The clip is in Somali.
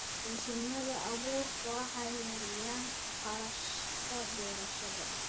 Mashiinada abuurku waxay yareeyaan kharashka beerashada.